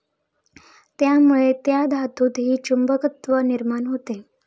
त्यामुळे त्या धातूतही चुंबकत्व निर्माण होते.